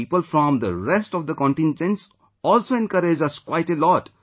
People from the rest of the contingents also encouraged us quite a lot